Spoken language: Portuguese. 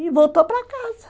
E voltou para casa.